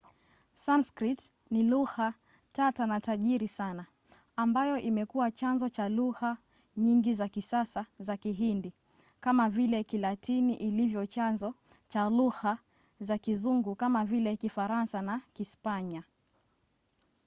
sanskrit ni lugha tata na tajiri sana ambayo imekuwa chanzo cha lugha nyingi za kisasa za kihindi kama vile kilatini ilivyo chanzo cha lugha za kizungu kama vile kifaransa na kispanya